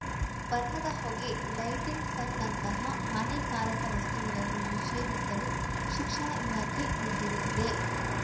ಬಣ್ಣದ ಹೊಗೆ ಲೈಟಿಂಗ್ಸ್‌ನಂತಹ ಹಾನಿಕಾರಕ ವಸ್ತುಗಳನ್ನು ನಿಷೇಧಿಸಲು ಶಿಕ್ಷಣ ಇಲಾಖೆ ನಿರ್ಧರಿಸಿದೆ